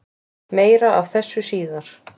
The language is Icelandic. Meira af þessu síðar.